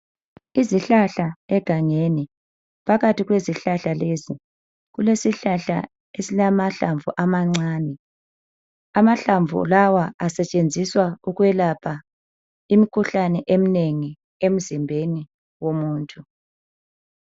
Izihlahla egangeni, phakathi kwezihlahla lezi, kulesihlahla esilamahlamvu amancane. Amahlamvu lawa asetshenziswa ukwelapha imkhuhlane eminengi emzimbeni womuntu.